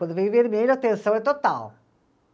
Quando vem o vermelho, a tensão é total.